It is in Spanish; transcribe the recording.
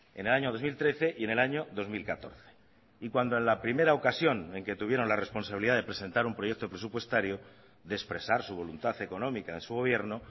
en el año dos mil trece y en el año dos mil catorce y cuando en la primera ocasión en que tuvieron la responsabilidad de presentar un proyecto presupuestario de expresar su voluntad económica de su gobierno